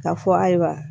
Ka fɔ ayiwa